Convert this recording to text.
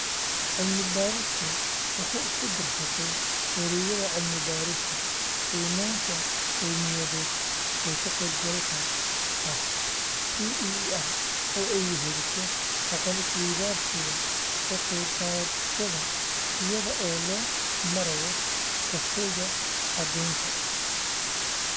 Cilmi-baadhistu waxay isku-darsatay wareegyada cilmi-baadhista qiimaynta qawmiyadeed ee ka-qaybgalka ah (PEER) oo ay weheliso aqoon isweydaarsiga ka qaybqaadashada iyada oo loo marayo Kafeega caddaynta.